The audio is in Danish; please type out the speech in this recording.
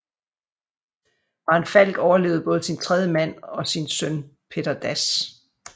Maren Falch overlevede både sin tredje mand og sin søn Petter Dass